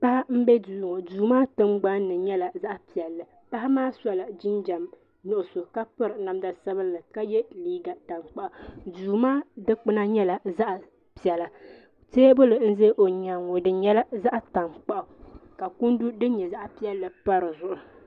Paɣa m-be duu ŋɔ duu maa tingbani ni nyɛla zaɣ'piɛlli paɣa maa sola jinjam nuɣuso ka piri namda sabinli ka ye liiga tankpaɣu duu maa dukpuna nyɛla zaɣ'piɛla teebuli n-ʒe o nyaaŋa ŋɔ di nyɛla zaɣ'tankpaɣu ka kundu din nyɛ zaɣ'piɛlli pa di zuɣu.